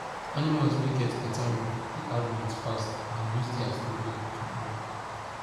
animals wey get better roof dey add weight fast and use their food well to grow